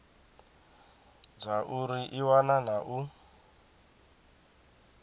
zwauri i wana na u